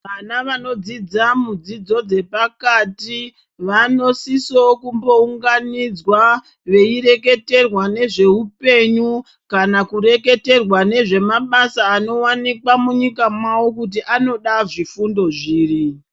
Vana vanodzidza mudzidzo dzepati, vanosisowo kumbounganidzwa veireketerwa nezveupenyu kana kureketerwa nezvemabasa anowanikwa munyika mawo kuti anoda zvifundo zviri.